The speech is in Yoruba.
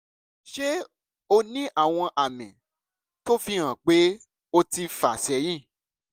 ṣé o ní àwọn àmì tó fi hàn pé o ti fà sẹ́yìn?